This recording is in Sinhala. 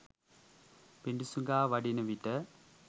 පිඬුසිඟා වඩින විට